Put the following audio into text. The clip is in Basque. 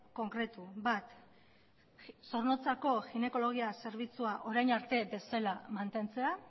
konkretu bat zornotzako ginekologia zerbitzua orain arte bezala mantentzea